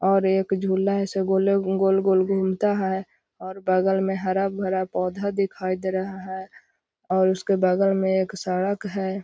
और एक झूला ऐसे गोले गोल-गोल घूमता है और बगल में हरा-भरा पौधा दिखाई दे रहा है और उसके बगल में एक सड़क है।